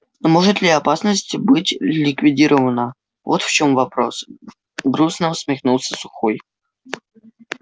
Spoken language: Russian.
может ли опасность быть ликвидирована вот в чём вопрос грустно усмехнулся сухой